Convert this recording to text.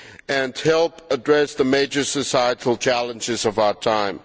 and help address the major societal challenges of our time.